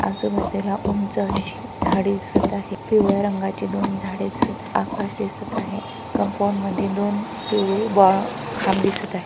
आजू बाजूला उंच अशी झाडे दिसत आहे. पिवळ्या रंगाची दोन झाडे दिसत आहे. आकाश दिसत आहे. कंपाऊंड मध्ये दोन पिवळे बो खांब दिसत आहे.